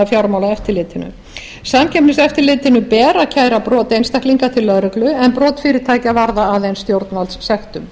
fjármálaeftirlitinu samkeppniseftirlitinu ber að kæra brot einstaklinga til lögreglu en brot fyrirtækja varða aðeins stjórnvaldssektum